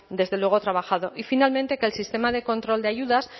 desde luego trabajado y finalmente que el sistema de control de ayudas